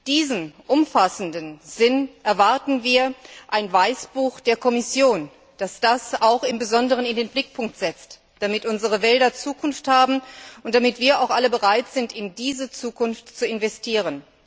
In diesem umfassenden Sinn erwarten wir ein Weißbuch der Kommission, das dies besonders in den Mittelpunkt stellt, damit unsere Wälder Zukunft haben und damit wir auch alle bereit sind, in diese Zukunft zu investieren.